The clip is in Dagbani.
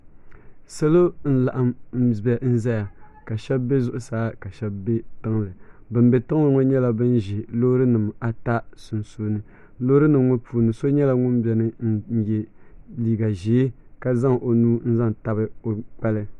Salɔ n laɣim n ʒaya, ka shabi be zuɣusaa kashebi be tiŋli ban be tiŋli ŋɔ nyɛla ban ʒe lɔɔrinim ata sun suuni, lɔɔri nim ŋɔ puuni so nyɛla ŋun beni ka zaŋ ɔ nuu n tabi ɔckpali